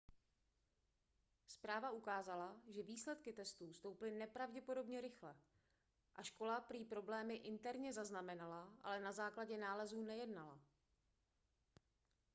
zpráva ukázala že výsledky testů stouply nepravděpodobně rychle a škola prý problémy interně zaznamenala ale na základě nálezů nejednala